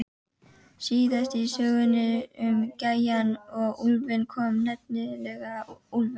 Síðast í sögunni um gæjann og úlfinn kom nefnilega úlfur.